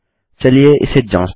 चलिए इसे जाँचते है